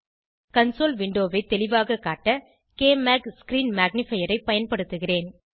console விண்டோவை தெளிவாக காட்ட க்மாக் ஸ்க்ரீன் மேக்னிஃபையர் ஐ பயன்படுத்துகிறேன்